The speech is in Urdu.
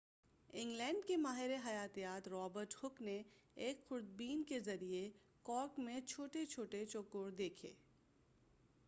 انگلینڈ کے ماہِر حَیاتِیات رابرٹ ہوک نے ایک خوردبین کے ذریعہ کارک میں چھوٹے چھوٹے چوکور دیکھے